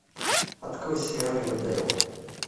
открой сериал ривердейл